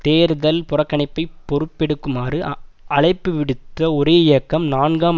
தேர்தல் புறக்கணிப்பை பொறுப்பெடுக்குமாறு அழைப்புவிடுத்த ஒரே இயக்கம் நான்காம்